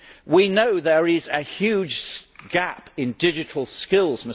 We know there is a huge gap in digital skills.